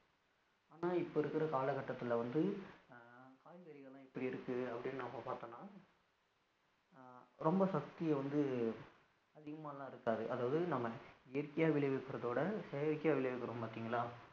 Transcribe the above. இப்போ இருக்குற காலகட்டதுல வந்து காய்கறிகள் எல்லாம் எப்படி இருக்கு அப்படினு நம்ம பாத்தோம்னா அஹ் ரொம்ப சக்தி வந்து அதிகமாலாம் இருக்காது அதாவது நம்ம இயற்கையா விளையவைக்குறதோட செயற்கையா விளையவைகுறோம் பாதிங்களா